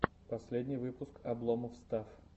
последний выпуск обломофф стафф